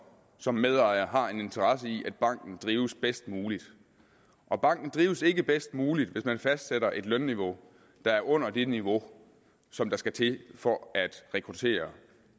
som medejer har en interesse i at banken drives bedst muligt og banken drives ikke bedst muligt hvis man fastsætter et lønniveau der er under det niveau som skal til for at rekruttere